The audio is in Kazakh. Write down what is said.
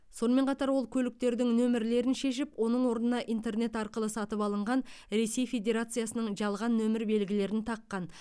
сонымен қатар ол көліктердің нөмірлерін шешіп оның орнына интернет арқылы сатып алынған ресей федерациясының жалған нөмір белгілерін таққан